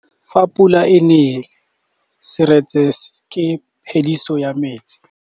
Fa pula e nelê serêtsê ke phêdisô ya metsi.